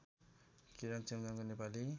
Kiran Chemjong Nepali